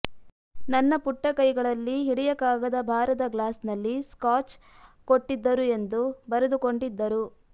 ನನ್ನ ಪುಟ್ಟ ಕೈಗಳಲ್ಲಿ ಹಿಡಿಯಕಾಗದ ಭಾರದ ಗ್ಲಾಸ್ನಲ್ಲಿ ಸ್ಕಾಚ್ ಕೊಟ್ಟಿದ್ದರು ಎಂದು ಬರೆದುಕೊಂಡಿದ್ದರು